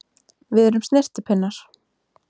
Við erum snyrtipinnar!